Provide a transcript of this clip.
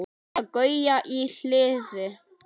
Eða Gauja í Hliði!